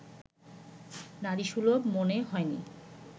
নারীসুলভ মনে হয়নি